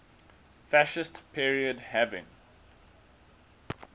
fascist period having